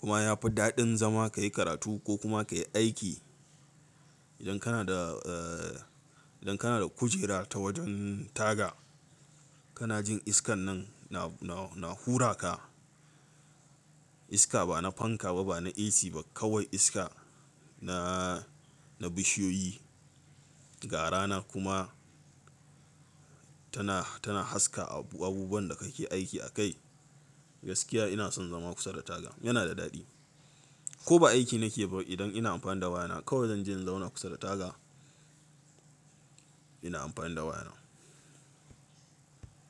kuma yafi daɗin zama kayi karatu ko kuma kayi aiki. Idan kana da, idan kana da kujera ta wajen taga kana jin iskan nan na, na, na hura ka. Iska ba na fanka ba, ba na AC ba kawai iska na, na bishiyoyi, ga rana kuma tana, tana haska abubuwan da kake aiki akai. Gaskiya ina son zama kusa da taga yana da daɗi. Ko ba aiki nake ba idan ina amfani da wayana kawai zan je in zauna kusa da taga. Ina amfani da waya na.